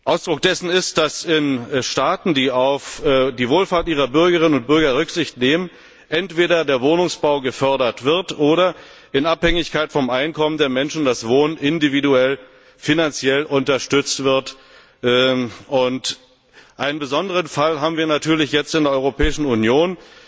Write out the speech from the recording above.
Ausdruck dessen ist, dass in Staaten, die auf die Wohlfahrt ihrer Bürgerinnen und Bürger Rücksicht nehmen, entweder der Wohnungsbau gefördert wird oder das Wohnen in Abhängigkeit vom Einkommen der Menschen individuell finanziell unterstützt wird. Einen besonderen Fall haben wir natürlich jetzt in der Europäischen Union